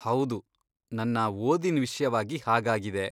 ಹೌದು, ನನ್ನ ಓದಿನ್ ವಿಷ್ಯವಾಗಿ ಹಾಗಾಗಿದೆ.